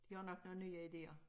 De har nok nogle nye idéer